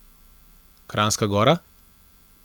Kranjska Gora?